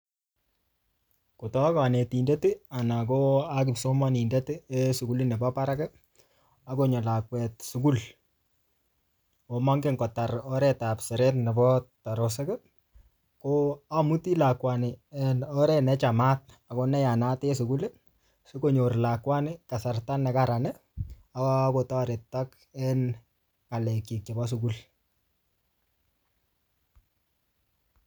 Kotakonetindet anan kipsomonindet en sukulit nebo barak ako mongen lakwet kotar oret ab siret nebo ko amuti lakwani en oret nechamat ak neyanat en sukul sikonyor kasarta nekaran akotoretok en ngalekyik chebo sukul